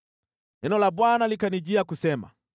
Neno la Bwana likanijia kusema: